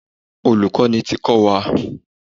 Olùkọ́ni ti kọ́ wa.